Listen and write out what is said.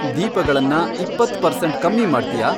ದೀಪಗಳನ್ನ ಇಪ್ಪತ್ತ್ ಪರ್ಸೆಂಟ್ ಕಮ್ಮಿ ಮಾಡ್ತ್ಯಾ